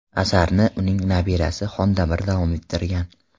Asarni uning nabirasi Xondamir davom ettirgan.